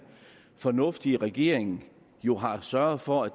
fornuftige regering jo har sørget for at